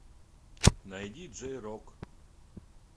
найди джей рок